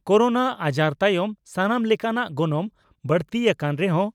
corona ᱟᱡᱟᱨ ᱛᱟᱭᱚᱢ ᱥᱟᱱᱟᱢ ᱞᱮᱠᱟᱱᱟᱜ ᱜᱚᱱᱚᱝ ᱵᱟᱹᱲᱛᱤ ᱟᱠᱟᱱ ᱨᱮᱦᱚᱸ